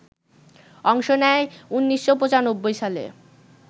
অংশ নেন ১৯৯৫ সালে